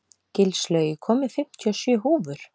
Gilslaug, ég kom með fimmtíu og sjö húfur!